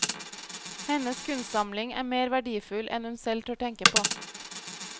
Hennes kunstsamling er mer verdifull enn hun selv tør tenke på.